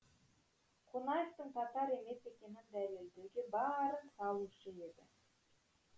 қонаевтың татар емес екенін дәлелдеуге барын салушы еді